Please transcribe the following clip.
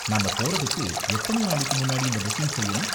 நாம போறதுக்கு எத்தனை நாளைக்கு முன்னாடி இந்த புக்கிங் செய்யணும்?